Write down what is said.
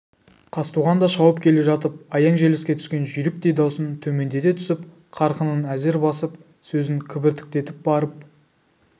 қазтуған да шауып келе жатып аяң желіске түскен жүйріктей даусын төмендете түсіп қарқынын әзер басып сөзін кібіртіктетіп барып